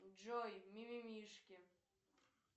джой ми ми мишки